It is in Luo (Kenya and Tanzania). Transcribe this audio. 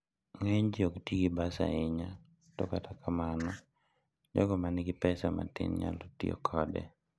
Ng'eny ji ok ti gi bas ahinya, to kata mana jogo ma nigi pesa matin nyalo tiyo kode.